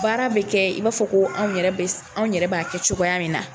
Baara bɛ kɛ i b'a fɔ ko anw yɛrɛ bɛ s anw yɛrɛ b'a kɛ cogoya min na.